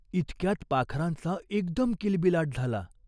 ती उठली. मोळी डोक्यावर घेऊन निघाली.